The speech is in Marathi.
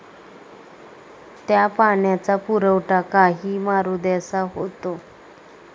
त्या पाण्याचा पुरवठा काही मारुद्यांसा होतो.